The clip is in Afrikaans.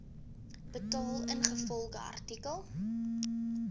betaal ingevolge artikel